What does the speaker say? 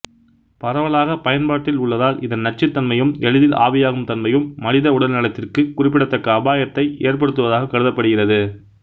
பரவலாகப் பயன்பாட்டில் உள்ளதால் இதன் நச்சுத்தன்மையும் எளிதில் ஆவியாகும் தன்மையும் மனித உடல் நலத்திற்கு குறிப்பிடத்தக்க அபாயத்தை ஏற்படுத்துவதாகக் கருதப்படுகிறது